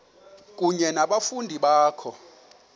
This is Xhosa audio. kunye nabafundi bakho